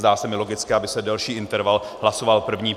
Zdá se mi logické, aby se delší interval hlasoval první.